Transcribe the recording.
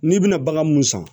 N'i bɛna bagan mun san